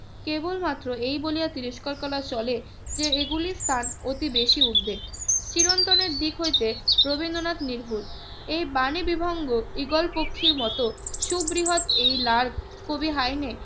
কেবলমাত্র এই বলিয়া তিরস্কার করা চলে যে এগুলি স্থান অতি বেশি উর্ধ্বে। চিরন্তনের দিক হইতে রবীন্দ্রনাথ নির্ভুল এই বাণী বিভঙ্গ ঈগল পক্ষীর মত সুবৃহৎ এই লার্জ কবি হাইনে